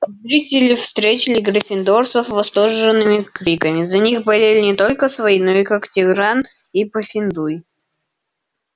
зрители встретили гриффиндорцев восторженными криками за них болели не только свои но и когтевран и пуффендуй